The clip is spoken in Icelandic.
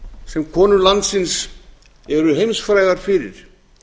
sem konur landsins eru heimsfrægar fyrir